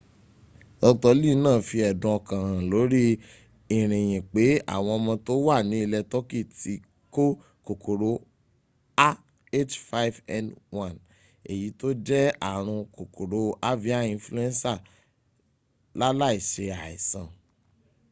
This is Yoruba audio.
dr.lee náà fi ẹ̀dùn ọkàn hàn lórí ìrìyìn pé àwọn ọmọ tó wà ní ilẹ̀ turkey ti kó kòkòrò ah5n1 èyí tó jẹ́ ààrùn kòkòrò avian influenza láláì se àìsàn